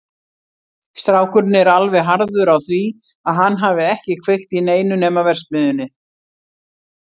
Strákurinn er alveg harður á því að hann hafi ekki kveikt í neinu nema verksmiðjunni.